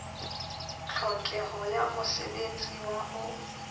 tlhokeho ya mosebetsi wa ho